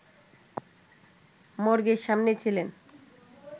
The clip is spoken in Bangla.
মর্গের সামনে ছিলেন